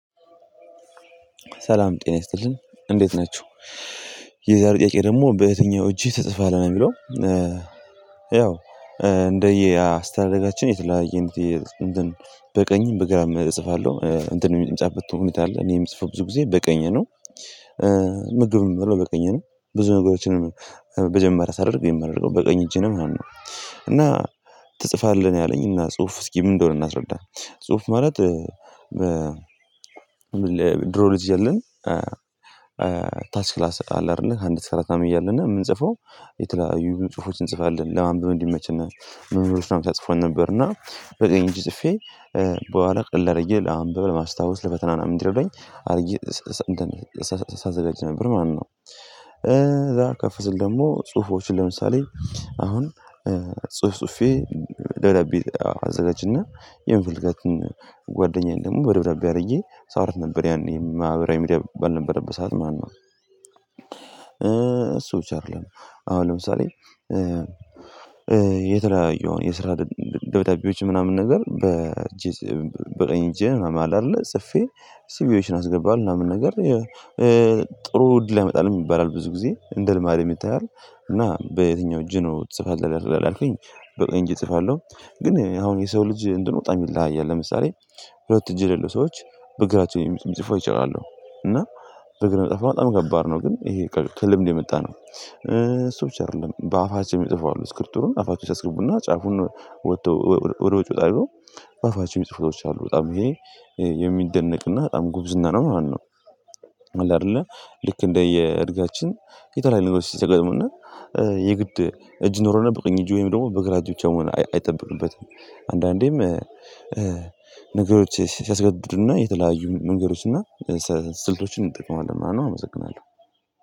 ሰላም ጤና ይስጥልኝ እንዴት ናችሁ የዛሬው ጥያቄ ደግሞ በየትኛው እጅህ ትጽፋለግ ነው የሚለው። ያው እንደየ አስተዳደጋችን የተለያየ እንትን በቀኝም በግራም እጽፋለሁ እንትን የሚጻፍበት ሁኔታ አለ እኔ የምጽፈው ብዙ ጊዜ በቀኝ ነው። ምግብም ምበላው በቀኝ ነው ብዙ ነገሮችንም መጀመሪያ ሳደርግ የማደርገው በቀኝ እጄ ነው ማለት ነው። እና ትጽፋለህ ነው ያለኝ እና ጽሁፍ እስኪ ምን እንደሆነ እናስረዳ። ጽሁፍ ማለት ድሮ ልጅ እያለን ታች ክላስ አለ አይደለ ከአንድ እስከ አራት ምናምን እያልን የምንጽፈው የተለያዩ ጽሁፎችን እንጽፋለን ለማንበብ እንዲመችን መምህሮችንም ታጽፎን ነበር እና በቀኝ እጄ ጽፌ በኋላ ቀለል አርጌ አንብበ ለማስታወስ ለፈተና ምናምን እንዲረዱኝ አርጌ ሳዘጋጅ ነበር ማለት ነው ከዛ ከፍ ስል ደሞ ጽሁፎችን ለምሳሌ አሁን ጹፍ ጹፌ ደብዳቤ አዘጋጅና የምፈልጋትን ጓደኛዬን ደሞ በደብዳቤ አርጌ ሳወራት ነበር ያኔ ማህበራዊ ሚዲያ ባልነበረበት ሰዓት ማለት ነው እሱ ብቻ አደለም አሁን ለምሳሌ የተለያዩ አሁን የስራ ደብዳቤዎችን ምናምን ነገር በቀኝ እጄ ምናምን አለ አደለ ጽፌ ሲቪዎችን አስገባ ምናምን ነገር ጥሩ እድል ያመጣልም ይባላል ብዙ ጊዜ እንደ ልማድም ይታያል እና በየትኛው እጅ ነው ትጽፋለህ ላልከኝ በቀኝ እጄ ጽፋለው ግን አሁን የሰው ልጅ እንትኑ በጣም ይለያያል ለምሳሌ ሁለት እጅ የሌለው ሰዎች በግራቸው የሚጽፉ አይቻለው እና በግር ለመጻፍ ከሆነ በጣም ከባድ ነው ግን ይሄ ከልምድ የመጣ ነው እሱ ብቻ አደለም በአፋቸው ሚጽፉ አሉ ስክሪፕቶውን አፋቸው ውስጥ ያስገቡና ጫፉን ወተው ወደ ውጪ ወጣ አርገው በአፋቸው ሚጽፉ ሰዎች አሉ በጣም የሚደነቅና በጣም ጉብዝና ነው ማለት ነው አለ አደለ ልክ እንደየ እድገታችን የተለያየ ልጆች ሲያጋጥሙንና የግድ እጅ ይኖረውና በቀኝ እጁ ወይም ደሞ በግራ እጅ ብቻ መሆን አይጠብቅበትም አንዳንዴም ነገሮች ሲያስገድዱና የተለያዩ መንገዶችና ስልቶችን እንጠቅማለን ማለት ነው አመሰግናለው